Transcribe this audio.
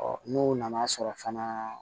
n'u nana sɔrɔ fana